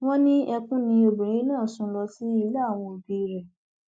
wọn ní ẹkún ni obìnrin náà sùn lọ sí ilé àwọn òbí rẹ